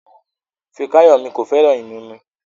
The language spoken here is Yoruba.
Fikayomi kò fẹ́ràn ìmumu